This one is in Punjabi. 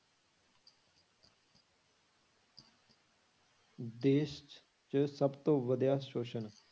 ਦੇਸ਼ 'ਚ ਸਭ ਤੋਂ ਵਧਿਆ ਸ਼ੋਸ਼ਣ।